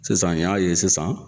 Sisan n y'a ye sisan